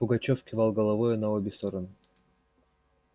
пугачёв кивал головою на обе стороны